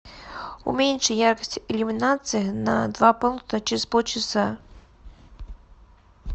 уменьши яркость иллюминации на два пункта через полчаса